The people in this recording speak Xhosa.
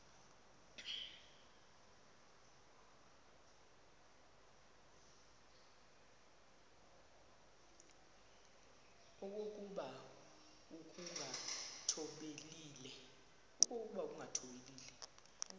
okokuba ukungathobeli le